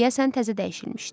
Deyəsən təzə dəyişilmişdi.